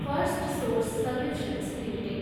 Firstsource solutions limited